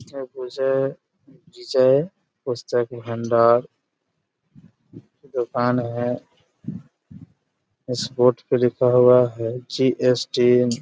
और विजय विजय पुस्तक भंडार दुकान है उस बोर्ड पे लिखा हुआ है जी.एस.टी. --